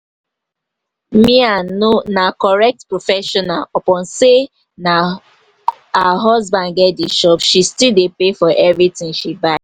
mia no na correct professional upon say na her husband get the shop she still dey pay for everything she buy